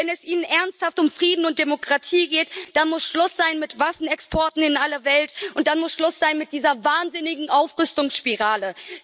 Wenn es Ihnen ernsthaft um Frieden und Demokratie geht, da muss Schluss sein mit Waffenexporten in alle Welt, und dann muss Schluss sein mit dieser wahnsinnigen Aufrüstungsspirale.